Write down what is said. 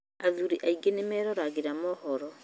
Athuri aingĩ meroragĩra mohoro